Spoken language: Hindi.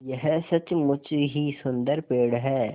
यह सचमुच ही सुन्दर पेड़ है